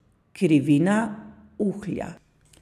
Krivina uhlja.